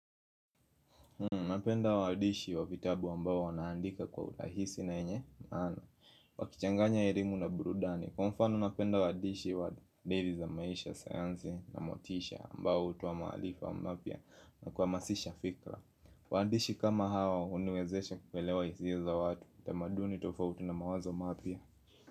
Napenda waadishi wa vitabu ambao wanaandika kwa urahisi na yenye maana Wakichanganya elimu na burudani. Kwa mfano napenda waadishi wa deli za maisha, sayansi na motisha ambao hutoa maalifa mapya na kuhamasisha fikra Waandishi kama hao huniwezesha kuelewa hisia za watu, tamaduni tofauti na mawazo mapya.